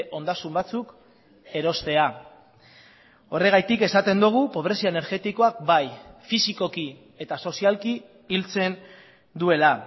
ondasun batzuk erostea horregatik esaten dugu pobrezia energetikoak bai fisikoki eta sozialki hiltzen duela